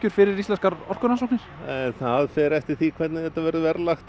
fyrir Íslenskar orkurannsóknir það fer eftir því hvernig þetta verður verðlagt